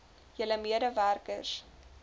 julle mede werkers